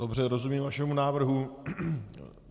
Dobře, rozumím vašemu návrhu.